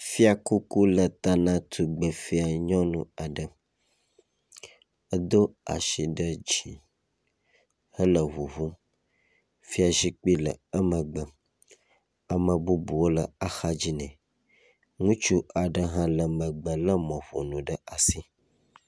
Fiakuku le ta na tugbefia nyɔnu aɖe. Edo asi ɖe dzi hele ŋuŋum. Fiazikpui le emegbe. Ame bubuwo le exadzi nɛ. Ŋutsu aɖe hã le megbe lé mɔƒonu ɖe asi.